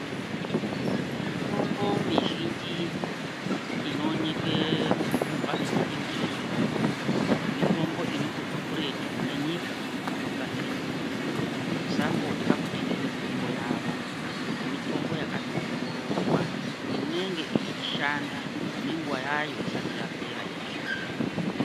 Mitombo mizhinji inoonekwa mumbatso dzinotengeswa mitombo, mitombo inotobva kuretu kune nyika dzinogadzira mitombo. Tisambotya kutenge mitombo yavo ngekuti mitombo yakatowongororwa inenge ichishanda nenguva yayo isati yapera yekushanda.